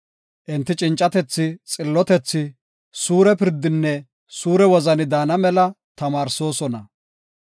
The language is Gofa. Enti cincatethi, xillotethi, suure pirdinne suure wozani daana mela tamaarsoosona.